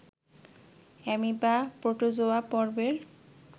amoeba protozoa পর্বের